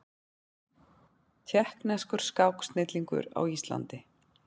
Tékkneskur skáksnillingur á Íslandi